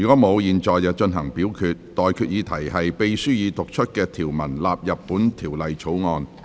我現在向各位提出的待決議題是：秘書已讀出的條文納入本條例草案。